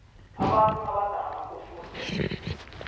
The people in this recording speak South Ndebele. abantu abadala kufuze